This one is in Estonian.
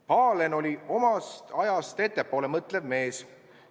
Pahlen oli omast ajast ettepoole mõtlev mees.